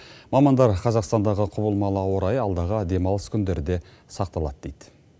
мамандар қазақстандағы құбылмалы ауа райы алдағы демалыс күндері де сақталады дейді